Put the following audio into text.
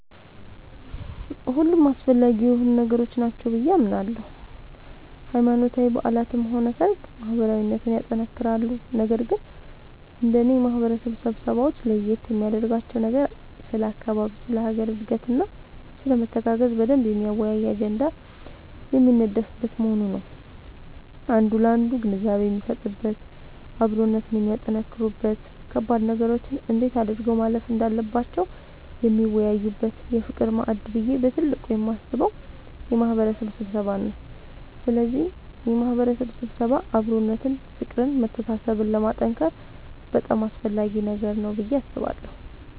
ሁሉም አስፈላጊ የሆኑ ነገሮች ናቸው ብዬ አምናለሁ ሃይማኖታዊ በዓላትም ሆነ ሰርግ ማህበራዊነትን ያጠነክራሉ ነገር ግን እንደኔ የማህበረሰብ ስብሰባወች ለየት የሚያደርጋቸው ነገር ስለ አካባቢ ስለ ሀገር እድገትና ስለመተጋገዝ በደንብ የሚያወያይ አጀንዳ የሚነደፍበት መሆኑ ነዉ አንዱ ላንዱ ግንዛቤ የሚሰጥበት አብሮነትን የሚያጠነክሩበት ከባድ ነገሮችን እንዴት አድርገው ማለፍ እንዳለባቸው የሚወያዩበት የፍቅር ማዕድ ብዬ በትልቁ የማስበው የማህበረሰብ ስብሰባን ነዉ ስለዚህ የማህበረሰብ ስብሰባ አብሮነትን ፍቅርን መተሳሰብን ለማጠንከር በጣም አስፈላጊ ነገር ነዉ ብዬ አስባለሁ።